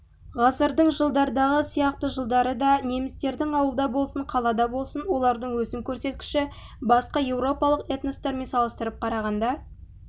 ғасырдың жылдардағы сияқты жылдары да немістердің ауылда болсын қалада болсын олардың өсім көрсеткіші басқа еуропалық этностармен салыстырып қарағанда